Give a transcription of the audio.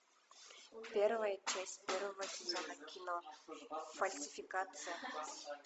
первая часть первого сезона кино фальсификация